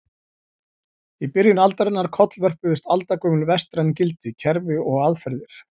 Í byrjun aldarinnar kollvörpuðust aldagömul vestræn gildi, kerfi og aðferðir.